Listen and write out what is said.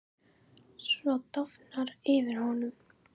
Svo dofnar yfir honum.